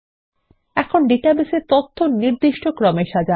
এখন ডাটাবেসের তথ্য নির্দিষ্ট ক্রমে সাজান